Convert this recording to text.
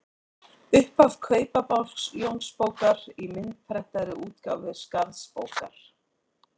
Upphaf Kaupabálks Jónsbókar í myndprentaðri útgáfu Skarðsbókar.